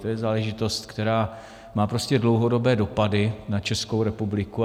To je záležitost, která má prostě dlouhodobé dopady na Českou republiku.